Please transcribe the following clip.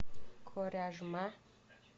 коряжма